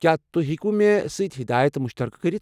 کیٚا تُہۍ ہیكوٕ مےٚ سٕتۍ ہدایت مُشترکہٕ كرِتھ ؟